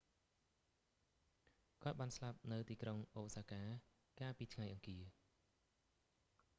គាត់បានស្លាប់នៅទីក្រុងអូសាកា កាលពីថ្ងៃអង្គារ